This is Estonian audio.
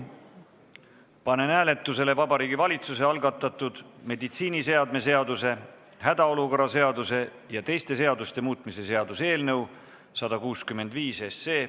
Panen hääletusele Vabariigi Valitsuse algatatud meditsiiniseadme seaduse, hädaolukorra seaduse ja teiste seaduste muutmise seaduse eelnõu.